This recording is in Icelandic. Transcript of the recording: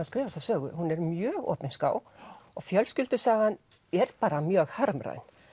skrifa þessa sögu hún er mjög opinská og fjölskyldusagan er bara mjög harmræn